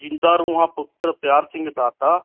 ਜ਼ਿੰਦਾ ਰੂਹਾਂ ਪੁੱਤਰ ਪਿਆਰ ਸਿੰਘ ਦਾਤਾ